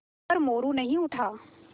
पर मोरू नहीं उठा